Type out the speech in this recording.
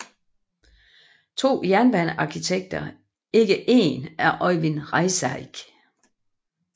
To jernbanearkitekter ikke én af Øyvind Reisegg